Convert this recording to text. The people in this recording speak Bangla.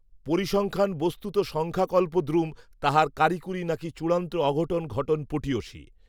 পরিসংখ্যান বস্তুত সংখ্যাকল্পদ্রুম তাহার কারিকূরি নাকি চূড়ান্ত অঘটন ঘটন পটীয়সী